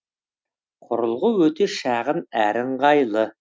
құрылғы өте шағын әрі ыңғайлы